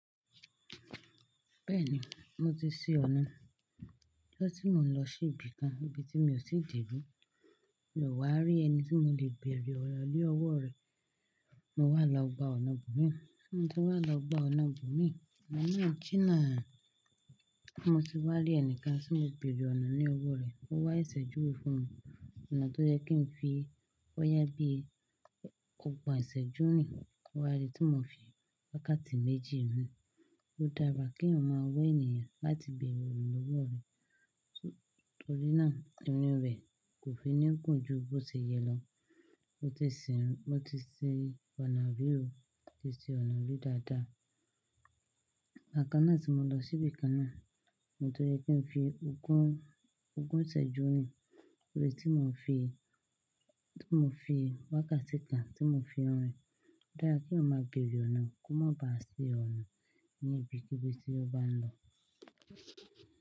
Bẹ́ẹ̀ni, mo ti ṣí ọ̀nà. Kẹ́tí mò ń lọ sí ibi kan, ibi tí mi ò tí ì dé bí, mio wà á rí ẹni tí mò lè bèrè ọ̀nà lí ọwọ́ rẹ. Mo wà lọ gbà ọ̀nà bú mi, mo ti wà lọ gbà ọ̀nà bú mi. Ọ̀nà náà jìnà, mo sì wá rí ẹnìkan tí mo bèrè ọ̀nà ní ọwọ́ rẹ̀. Ó wá sẹ́sẹ́ júwe fún mi, ọ̀nà tó jẹ́ kí n fi bóyá bí ogbọ́n ìsẹ́jú rin. Ó wá rí tí mò ń fi wákàtí méjì rìn. Ó dára kí èèyàn máa wá ènìyàn láti bèrè ọ̀nà lọ́wọ́ rẹ̀ torí náà irìn rẹ̀ kò fi ní gùn jù bó ṣe yẹ lọ. Mo ti ṣi ọ̀nà rí ò mo tí ṣi ọ̀nà rí dáadáa. Ìgbà kan náà tí mò ń lọ sí ibi kan náà òun tó yẹ kí n fi ogún, ogún ìsẹ́jú rìn torí tí mò ń fi, tí mò ń fi wákàtí kan tí mò ń fi orin. Ó dára kí èèyàn o mọ béèrè ọ̀nà kó má ba à ṣì ọ̀nà ní ibi kí bí tí ó bá ń lọ.